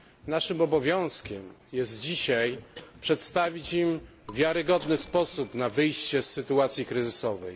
Naszym obowiązkiem jest dzisiaj przedstawić im wiarygodny sposób na wyjście z sytuacji kryzysowej.